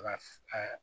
Ka a